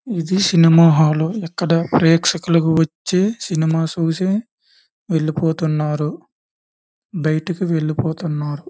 ఇది cinema hall .ఇక్కడ ప్రేక్షకులు వచ్చి సినిమా చూసి వెళ్ళిపోతున్నారు . బయటకి వెళ్ళిపోతున్నారు.